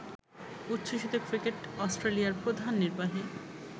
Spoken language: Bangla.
উচ্ছ্বসিত ক্রিকেট অস্ট্রেলিয়ার প্রধান নির্বাহী